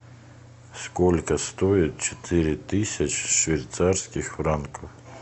сколько стоит четыре тысячи швейцарских франков